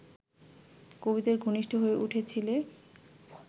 কবিদের ঘনিষ্ঠ হয়ে উঠেছিলে